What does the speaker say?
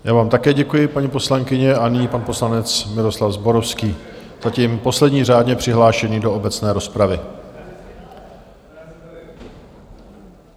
Já vám také děkuji, paní poslankyně, a nyní pan poslanec Miroslav Zborovský, zatím poslední řádně přihlášený do obecné rozpravy.